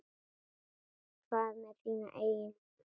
Hvað með þína eigin línu?